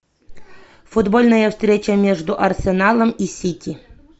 футбольная встреча между арсеналом и сити